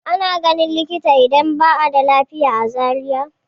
Ana ganin likita idan ba a da lafiya a Zariya.